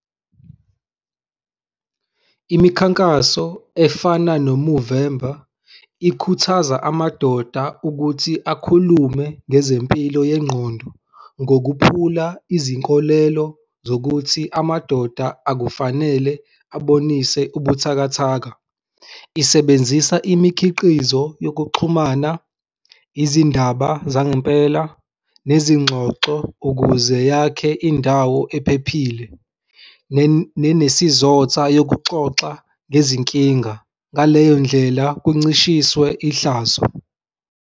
Imikhankaso efana noMovember ikhuthaza amadoda ukuthi akhulume ngezempilo yengqondo ngokuphula izinkolelo zokuthi amadoda akufanele abonise ubuthakathaka. Isebenzisa imikhiqizo yokuxhumana, izindaba zangempela nezingxoxo ukuze yakhe indawo ephephile, nenesizotha yokuxoxa ngezinkinga. Ngaleyo ndlela kuncishiswe ihlazo.